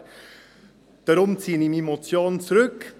Deshalb ziehe ich meine Motion zurück.